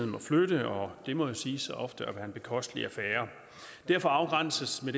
må flytte og det må jo siges ofte at være en bekostelig affære derfor afgrænses det